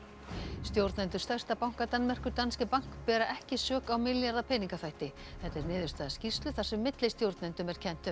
stjórnendur stærsta banka Danmerkur Danske Bank bera ekki sök á milljarða peningaþvætti þetta er niðurstaða skýrslu þar sem millistjórnendum er kennt um